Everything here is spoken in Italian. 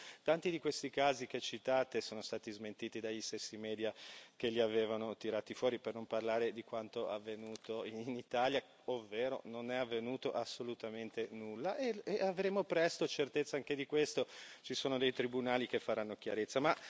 Spesso tanti di questi casi che citate sono stati smentiti dagli stessi media che li avevano tirati fuori, per non parlare di quanto avvenuto in Italia, ovvero non è avvenuto assolutamente nulla e avremo presto certezza anche di questo, ci sono dei tribunali che faranno chiarezza.